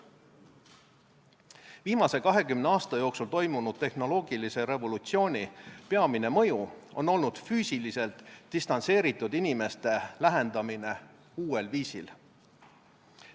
Viimase 20 aasta jooksul toimunud tehnoloogilise revolutsiooni peamine mõju on olnud füüsiliselt distantseeritud inimeste lähendamine uuel viisil.